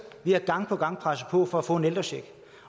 vi har gang på gang presset på for at få en ældrecheck